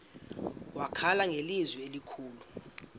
wakhala ngelizwi elikhulu